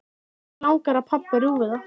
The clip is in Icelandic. Mig langar að pabbi rjúfi það.